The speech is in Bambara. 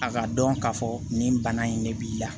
A ka dɔn k'a fɔ nin bana in de b'i la